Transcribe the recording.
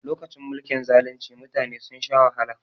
Lokacin mulkin zalunci mutane sun sha wahala